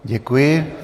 Děkuji.